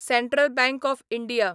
central bank of India